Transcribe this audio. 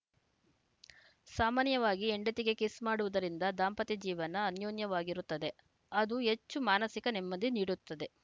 ಸಾಮಾನ್ಯವಾಗಿ ಹೆಂಡತಿಗೆ ಕಿಸ್‌ ಮಾಡುವುದರಿಂದ ದಾಂಪತ್ಯ ಜೀವನ ಅನ್ಯೋನ್ಯವಾಗಿರುತ್ತದೆ ಅದು ಹೆಚ್ಚು ಮಾನಸಿಕ ನೆಮ್ಮದಿ ನೀಡುತ್ತದೆ